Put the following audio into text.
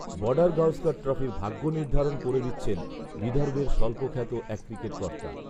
বর্ডারগাওস্কর ট্রফির ভাগ্য নির্ধারণ করে দিচ্ছেন বিদর্ভের স্বল্পখ্যাত এক ক্রিকেট কর্তা